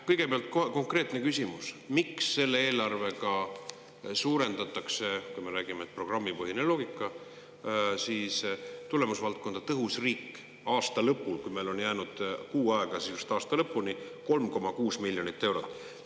Kõigepealt konkreetne küsimus: miks selle eelarvega suurendatakse, kui me räägime, et on programmipõhine loogika, tulemusvaldkonda "Tõhus riik" aasta lõpul, kui meil on jäänud sisuliselt kuu aega aasta lõpuni, 3,6 miljoni euro võrra?